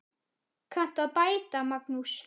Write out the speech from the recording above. Kanntu að bæta, Magnús?